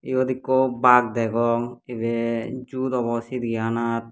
iyot ekku baag degong ibe zoot obo chiriya khanat.